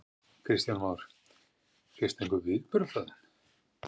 Kristján Már: Fékkstu einhver viðbrögð frá þeim?